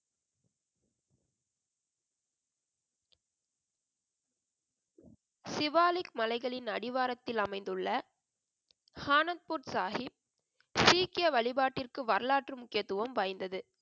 சிவாலிக் மலைகளின் அடிவாரத்தில் அமைந்துள்ள ஆனந்த்பூர் சாஹிப், சீக்கிய வழிபாட்டிற்கு வரலாற்று முக்கியத்துவம் வாய்ந்தது.